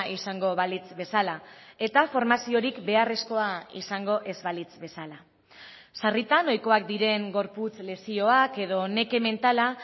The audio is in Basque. izango balitz bezala eta formaziorik beharrezkoa izango ez balitz bezala sarritan ohikoak diren gorputz lesioak edo neke mentala